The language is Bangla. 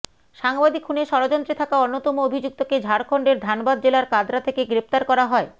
সাংবাদিক খুনের ষড়যন্ত্রে থাকা অন্যতম অভিযুক্তকে ঝাড়খন্ডের ধানবাদ জেলার কাতরা থেকে গ্রেফতার করা হয়